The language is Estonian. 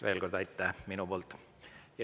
Veel kord aitäh minu poolt.